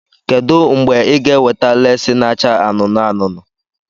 Kedu mgbe ị ga-eweta lesii n'acha anụnụ anụnụ?